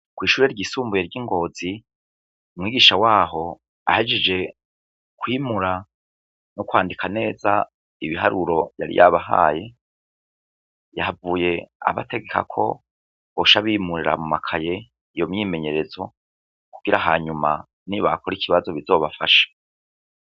Kw'ishure ryisumbuye ry'i Ngozi, umwigisha waho ahejeje kwimura no kwandika neza ibiharuro yari yabahaye, yahavuye abategeka ko boca bimurira mu makaye iyo myimenyerezo kugira hanyuma nibakora ikibazo bizobafashe.